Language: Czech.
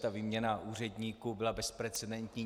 Ta výměna úředníků byla bezprecedentní.